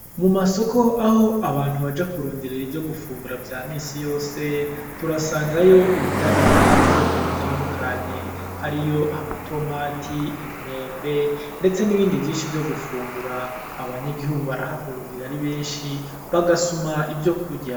Mu masoko aho abantu baja kurondera ivyo gufungura vya minsi yose turasangayo ibidandazwa vy'ubwoko butandukanye hariyo: amatomati, imyembe ndetse n'ibindi vyinshi vyo gufungura abanyagihugu barahahurira ari benshi bagasuma ivyo kurya.